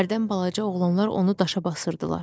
Hərdən balaca oğlanlar onu daşa basırdılar.